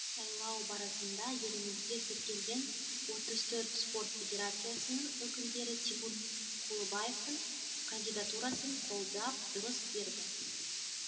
сайлау барысында елімізде тіркелген отыз төрт спорт федерациясының өкілдері тимур құлыбаевтың кандидатурасын қолдап дыбыс берді